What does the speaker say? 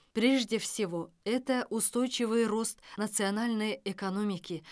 прежде всего это устойчивый рост национальной экономики